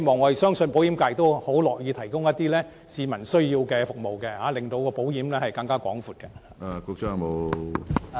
我相信保險業界很樂意提供一些市民需要的服務，令保險服務更為全面。